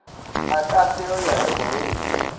a ka fereya le morwedi